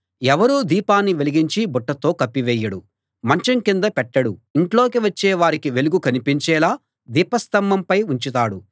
ఎవరూ దీపాన్ని వెలిగించి బుట్టతో కప్పివేయడు మంచం కింద పెట్టడు ఇంట్లోకి వచ్చే వారికి వెలుగు కనిపించేలా దీపస్తంభంపై ఉంచుతాడు